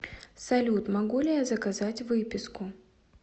салют могу ли я заказать выписку